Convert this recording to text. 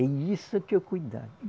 E isso que é o cuidado